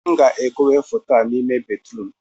m ga-ekowe foto a n'ime bedrum